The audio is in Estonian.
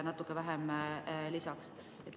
Natuke vähem kui 30 miljonit lisaks.